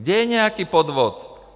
Kde je nějaký podvod?